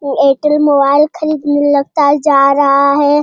Airtel mobile खरीदने लगता है जा रहा है।